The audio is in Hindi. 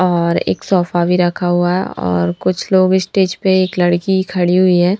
और एक सोफा भी रखा हुआ और कुछ लोग स्टेज पे एक लड़की खड़ी हुई है।